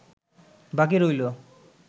বাকি রইল